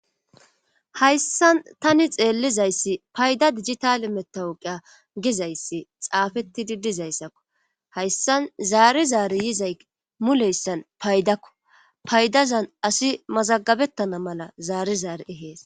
hayssan tani xeellizayssi payda dijitale metawuqa gizayssi xaafetti didizayssakko hayssan zaari zaari yizay muleyssan paydakko paydazan asi mazagabettana mala zaari zaari ehees